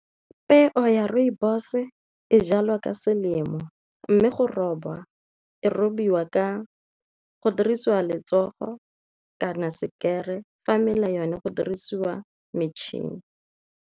Peo ya rooibos e jalwa ka selemo mme go roba e robiwa go dirisiwa letsogo kana sekere fa mela yone go dirisiwa matšhini.